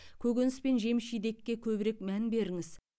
көкөніс пен жеміс жидекке көбірек мән беріңіз